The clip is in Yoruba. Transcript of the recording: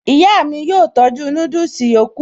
Ìyá mi yóò tọ́jú núdùsì yòókù